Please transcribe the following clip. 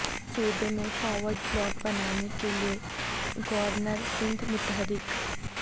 صوبے میں forward block بنانے کیلئے گورنر سندھ متحرک